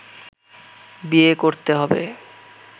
বিয়ে করতে হবে